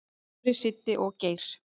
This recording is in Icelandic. """Dóri, Siddi og Geir."""